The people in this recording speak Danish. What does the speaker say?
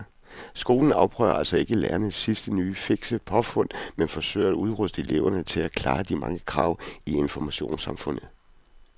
Skolen afprøver altså ikke lærernes sidste nye fikse påfund men forsøger at udruste eleverne til at klare de mange krav i informationssamfundet.